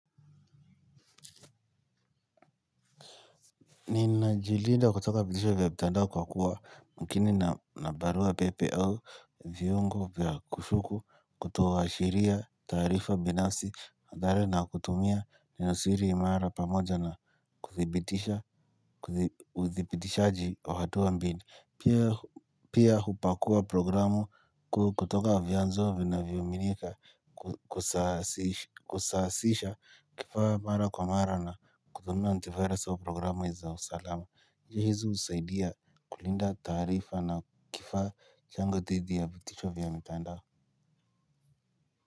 Nina jilinda kutoka vitisho vya mitandao kwa kuwa makini na barua pepe au viungo vya kushuku kutoa shiria taarifa binansi nadare na kutumia ni nosiri imara pamoja na kudhibitisha kudhibitishaji wa hatua mbili. Pia hupakua programu kutoka vyanzo vinavyoaminika kusasisha kifaa mara kwa mara na kutumia anti virus au programu za usalama hizi husaidia kulinda taarifa na kifaa changu dhidi ya vitisho vya mitandao.